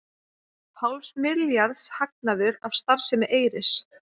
Hálfs milljarðs hagnaður af starfsemi Eyris